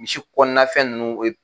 Misi kɔnɔna fɛn ninnu